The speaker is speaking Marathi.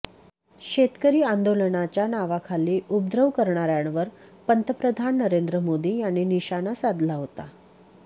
शेतकरी आंदोलनाच्या नावाखाली उपद्रव करणाऱ्यांवर पंतप्रधान नरेंद्र मोदी यांनी निशाना साधला होता